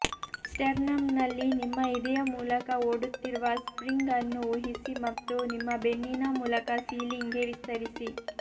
ಸ್ಟೆರ್ನಮ್ನಲ್ಲಿ ನಿಮ್ಮ ಎದೆಯ ಮೂಲಕ ಓಡುತ್ತಿರುವ ಸ್ಟ್ರಿಂಗ್ ಅನ್ನು ಊಹಿಸಿ ಮತ್ತು ನಿಮ್ಮ ಬೆನ್ನಿನ ಮೂಲಕ ಸೀಲಿಂಗ್ಗೆ ವಿಸ್ತರಿಸಿ